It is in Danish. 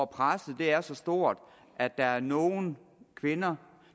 presset er så stort at der er nogle kvinder